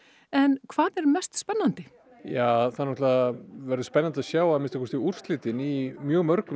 en hvað er mest spennandi ja það náttúrulega verður spennandi að sjá að minnsta kosti úrslitin í mjög mörgum